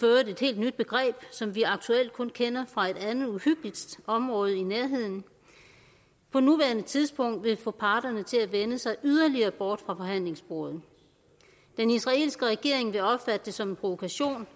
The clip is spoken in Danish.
helt nyt begreb som vi aktuelt kun kender fra et andet uhyggeligt område i nærheden på nuværende tidspunkt vil få parterne til at vende sig yderligere bort fra forhandlingsbordet den israelske regering vil opfatte det som en provokation